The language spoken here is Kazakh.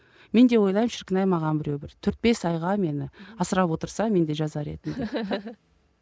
мен де ойлаймын шіркін ай маған біреу бір төрт бес айға мені асырап отырса мен де жазар едім деп